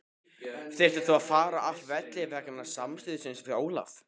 Þurftir þú að fara af velli vegna samstuðsins við Ólaf?